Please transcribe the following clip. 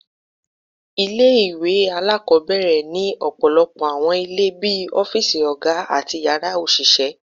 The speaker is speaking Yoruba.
Ile-iwe alakọbẹrẹ ni ọpọlọpọ awọn ile bii ọfiisi oga ati yara oṣiṣẹ